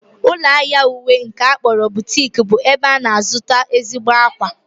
Ụlọahịa mweyi nke a kpọrọ butik bụ ebe a na-azụta ezigbo akwa